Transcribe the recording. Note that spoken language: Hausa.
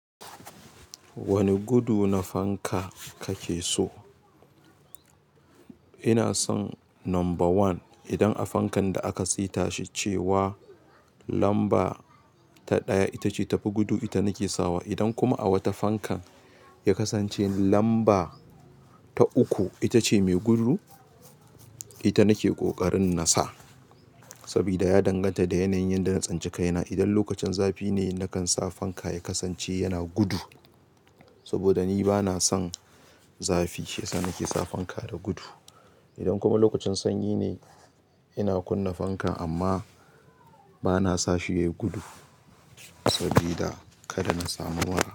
Wane gudu na fanka kake so? Ina son number one. Idan a fankan da aka saita shi cewa lamba ta ɗaya ita ce tafi gudu, ita nake sawa. Idan kuma a wata fankan ya kasance lamba ta uku ita ce mai gudu, ita nake ƙoƙarin na sa. Sabida ya danganta da yanayin da na tsince kaina. Idan lokacin zafi ne, nakan sa fanka ya kasance yana gudu. Saboda ni bana son zafi, shiyasa nake sa fanka da gudu. Idan kuma lokacin sanyi ne, ina kunna fankan amma bana sa shi yayi gudu sabida kada na samu mura.